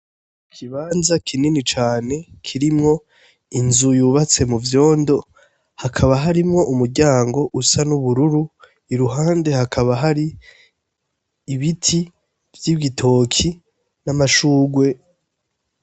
Ikibanza kinini cane kirimwo inzu yubatse mu vyondo, hakaba harimwo umuryango usa n'ubururu, iruhande hakaba hari ibiti vy'igitoki n'amashugwe.